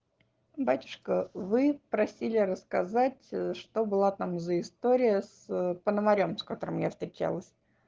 батюшка вы просили рассказать что было там за история с пономарём с которым я встречалась